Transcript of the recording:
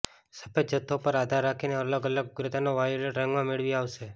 સફેદ જથ્થો પર આધાર રાખીને અલગ અલગ ઉગ્રતાના વાયોલેટ રંગમાં મેળવી આવશે